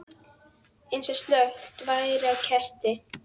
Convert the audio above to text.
Eins og slökkt væri á kerti.